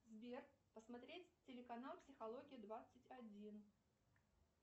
сбер посмотреть телеканал психология двадцать один